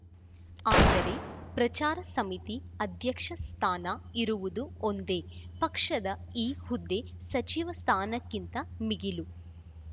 ಆದರೆ ಪ್ರಚಾರ ಸಮಿತಿ ಅಧ್ಯಕ್ಷ ಸ್ಥಾನ ಇರುವುದು ಒಂದೇ ಪಕ್ಷದ ಈ ಹುದ್ದೆ ಸಚಿವ ಸ್ಥಾನಕ್ಕಿಂತ ಮಿಗಿಲು